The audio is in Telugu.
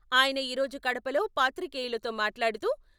ఆయన ఈ రోజు కడపలో పాత్రికేయులతో మాట్లాడుతూ..